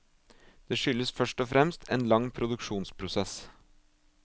Det skyldes først og fremst en lang produksjonsprosess.